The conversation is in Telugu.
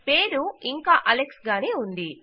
పేరు ఇంకా అలెక్స్ గానే ఉంది